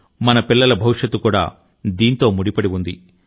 మన పిల్లల భవిష్యత్తు కూడా దీంతో ముడిపడి ఉంది